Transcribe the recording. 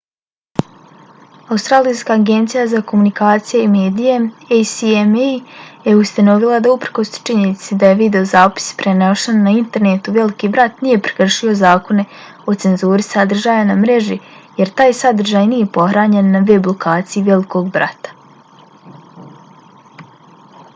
australijska agencija za komunikacije i medije acma je ustanovila da uprkos činjenici da je videozapis prenošen na internetu veliki brat nije prekršio zakone o cenzuri sadržaja na mreži jer taj sadržaj nije pohranjen na web lokaciji velikog brata